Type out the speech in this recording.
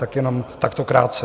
Tak jenom takto krátce.